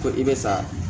Ko i bɛ sa